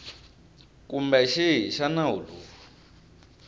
kumbe xihi xa nawu lowu